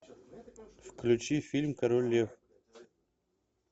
включи фильм король лев